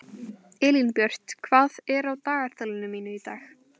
Elínbjört, hvað er á dagatalinu mínu í dag?